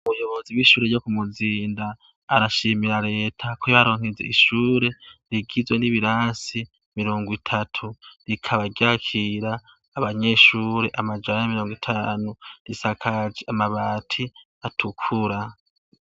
Umuyobozi w'ishure ryo ku muzinda arashimira leta ko ibaronkize ishure rigizwe n'ibirasi mirongo itatu rikaba ryakira abanyeshure amajara y'mirongo itanu risakaje amabati atukura.